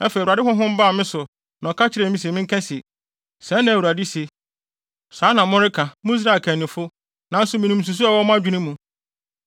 Afei, Awurade Honhom baa me so na ɔka kyerɛɛ me se menka se, “Sɛɛ na Awurade se: Saa na moreka, mo Israel akannifo, nanso minim nsusuwii a ɛwɔ mo adwene mu.